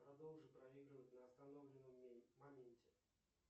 продолжи проигрывать на остановленном моменте